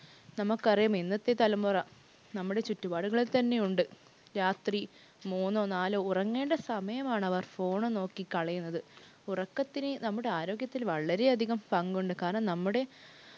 നമുക്കറിയാം ഇന്നത്തെ തലമുറ നമ്മുടെ ചുറ്റുപാടുകളിൽ തന്നെയുണ്ട് രാത്രി മൂന്നോ നാലോ ഉറങ്ങേണ്ട സമയമാണവർ phone ഉം നോക്കി കളയുന്നത്. ഉറക്കത്തിന് നമ്മുടെ ആരോഗ്യത്തിൽ വളരെയധികം പങ്കുണ്ട്. കാരണം, നമ്മുടെ